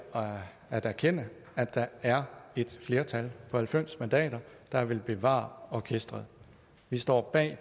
erkende at der er et flertal på halvfems mandater der vil bevare orkestret vi står bag